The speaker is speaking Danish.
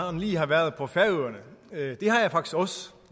han lige har været på færøerne det har jeg faktisk også